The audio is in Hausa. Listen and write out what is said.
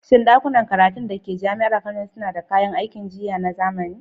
Shin ɗakunan karatun da ke Jami'ar Kano suna da kayan aikin jiyya na zamani?